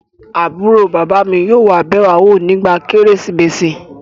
Àbúrò bàbá mi yóò wá bẹ̀ wá wò nígbà kérésìmesì